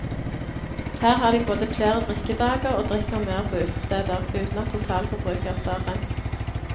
Her har de både flere drikkedager og drikker mer på utesteder, uten at totalforbruket er større.